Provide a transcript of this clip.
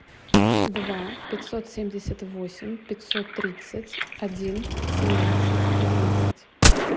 два пятьсот семьдесят восемь пятьсот тридцать один семнадцать одиннадцать